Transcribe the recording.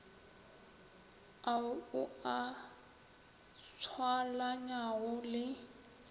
ao o a tswalanyago le